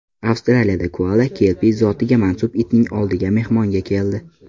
Avstraliyada koala kelpi zotiga mansub itning oldiga mehmonga keldi.